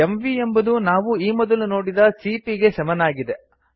MV ಎಂಬುದು ನಾವು ಈ ಮೊದಲು ನೋಡಿದ ಸಿಪಿಯ ಗೆ ಸಮನಾಗಿದೆ